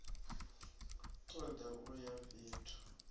ṱo ḓa u ya fhethu